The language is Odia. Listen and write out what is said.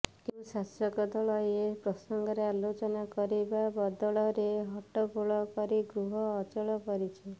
କିନ୍ତୁ ଶାସକ ଦଳ ଏ ପ୍ରସଙ୍ଗରେ ଆଲୋଚନା କରିବା ବଦଳରେ ହଟ୍ଟଗୋଳ କରି ଗୃହ ଅଚଳ କରିଛି